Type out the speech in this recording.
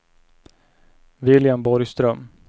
William Borgström